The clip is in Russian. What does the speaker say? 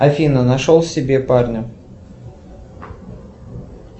афина нашел себе парня